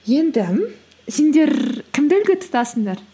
енді сендер кімді үлгі тұтасыңдар